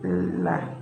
Ee la